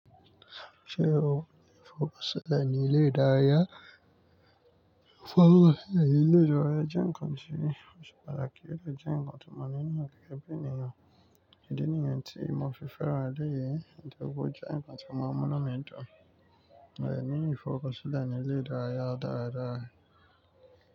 Ṣé o fọwọ́ sílẹ̀ ní ilé ìdárayá? Ilé ìdárayá jẹ́ nǹkan tí ó ṣe pàtàkì, ó lè jẹ́ nǹkan tí mo ní ní òkè ẹbí ènìyàn. Kíni èyí tí mo fi fẹ́ran adé yìí ni pé ó jẹ́ nǹkan tí màá mú lọ́mú mi dán. Ẹ̀ ní ìfọkànsílẹ̀ ní ilé ìdárayá dáradára.